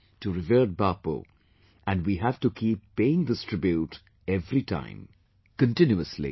to revered Bapu and we have to keep paying this tribute every time; continuously